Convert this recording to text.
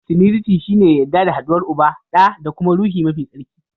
Tiriniti shi ne yadda da haduwar Uba, ɗa da kuma Ruhi mafi tsarki.